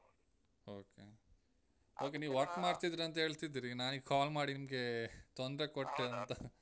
Okay okay ನೀವ್ work ಮಾಡ್ತಿದ್ದೀರ ಅಂತ ಹೇಳ್ತಿದ್ರಿ ನಾನೀಗ್ call ಮಾಡಿ ನಿಮ್ಗೆ ತೊಂದ್ರೆ ಕೊಟ್ಟೆ ಅಂತ